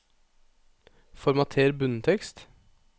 Formater bunntekst